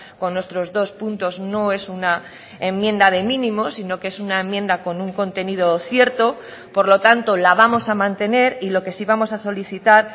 con nuestros dos puntos no es una enmienda de mínimos sino que es una enmienda con un contenido cierto por lo tanto la vamos a mantener y lo que sí vamos a solicitar